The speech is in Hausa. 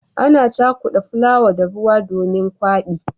Ana cakudawa fulawa da ruwa domin gwabi.